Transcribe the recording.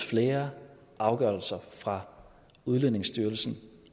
flere afgørelser fra udlændingestyrelsen